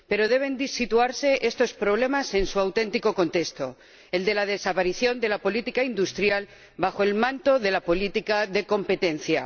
Pero deben situarse estos problemas en su auténtico contexto, el de la desaparición de la política industrial bajo el manto de la política de competencia.